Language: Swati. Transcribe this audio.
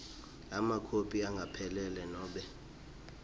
emakhophi angempela nobe